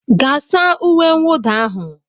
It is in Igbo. Gaa saa uwe mwụda ahụ